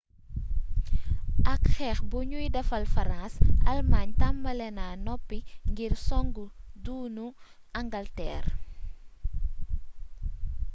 ak xeex buñuy defal farans almaañ tambali na noppi ngir soŋg duunu angalteer